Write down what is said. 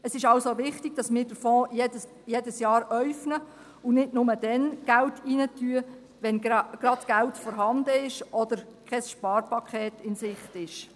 Es ist deshalb wichtig, dass wir den Fonds jedes Jahr äufnen und nicht nur dann Geld reingeben, wenn gerade Geld vorhanden oder kein Sparpaket in Sicht ist.